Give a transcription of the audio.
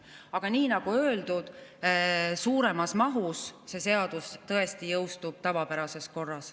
Aga nagu öeldud, suuremas mahus see seadus tõesti jõustub tavapärases korras.